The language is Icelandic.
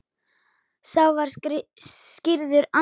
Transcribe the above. Sá var skírður Andrés.